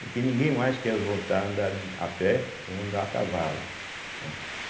Porque ninguém mais quer voltar a andar de a pé ou a andar a cavalo, né.